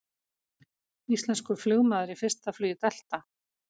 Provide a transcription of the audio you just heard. Íslenskur flugmaður í fyrsta flugi Delta